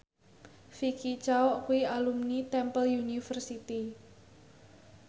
Vicki Zao kuwi alumni Temple University